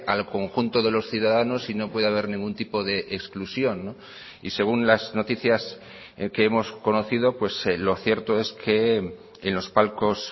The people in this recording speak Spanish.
al conjunto de los ciudadanos y no puede haber ningún tipo de exclusión y según las noticias que hemos conocido lo cierto es que en los palcos